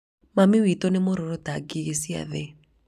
mami witũ nĩ mũrũrũ ta ngĩgĩ cĩa thĩ